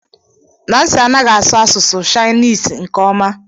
Nancy anaghị asụ Asụsụ Shainesi nke ọma